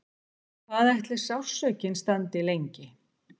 Hvað ætli sársaukinn standi lengi?